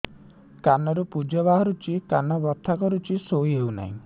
କାନ ରୁ ପୂଜ ବାହାରୁଛି କାନ ବଥା କରୁଛି ଶୋଇ ହେଉନାହିଁ